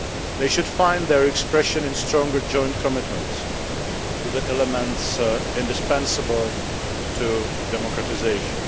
They should find their expression in stronger joint commitments to the elements indispensable to democratisation.